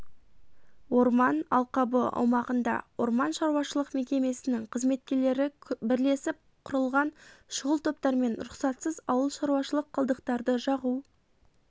орман алқабы аумағында орман шаруашылық мекемесінің қызметкерлері бірлесіп құрылған шұғыл топтармен рұқсатсыз ауыл шаруашылық қалдықтарды жағу